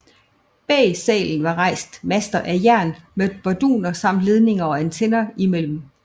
Bag salen var rejst master af jern med barduner samt ledninger og antenner imellem